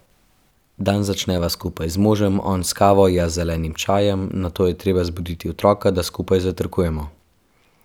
Dan začneva skupaj z možem, on s kavo, jaz z zelenim čajem, nato je treba zbuditi otroka, da skupaj zajtrkujemo.